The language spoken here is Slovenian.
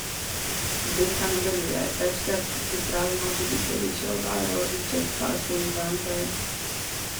Zdenka nadaljuje: 'Večkrat pripravimo tudi telečjo obaro, ričet, pasulj, vampe ...